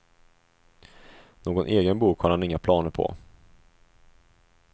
Någon egen bok har han inga planer på.